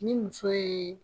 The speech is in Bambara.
Ni muso ye